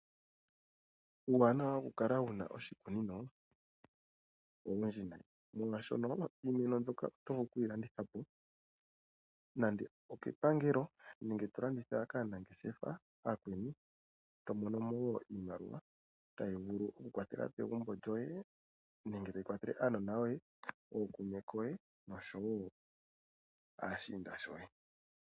Uuwanawa okukala wu na oshikunino, owundji nayi. Molwashono iinima mbyoka oto vulu okuyilanditha po nande okepangelo, nenge to landitha kaa nangeshefa aakweni. To mono mo wo iimaliwa tayi vulu okukwathela pegumbo lyoye, nenge tayi kwathele aanona yoye , ookume koye nosho woo aashiinda shoye.